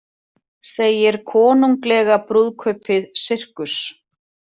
Segir konunglega brúðkaupið sirkus